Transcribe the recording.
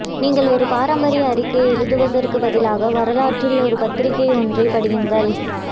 நீங்கள் ஒரு பாரம்பரிய அறிக்கையை எழுதுவதற்கு பதிலாக வரலாற்றில் ஒரு பத்திரிகை ஒன்றைப் படியுங்கள்